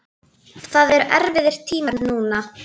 Það eru erfiðir tímar núna.